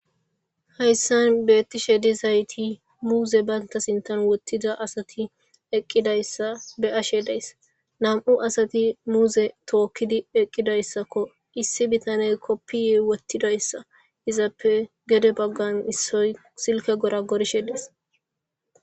Hayisan betishe dizayis muze banita sinithan wothidi eqidayisa be'ashe dayis na'mu sata muze tokidi eqidayisako issi bitaney kopiya wothidayisa izape gede bagan issoy silike gorogirishe des